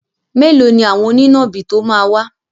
Mẹ́lòó ni àwọn onínàbì tó máa wá.